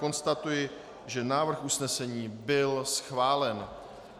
Konstatuji, že návrh usnesení byl schválen.